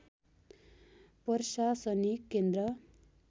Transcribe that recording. प्रशासनिक केन्द्र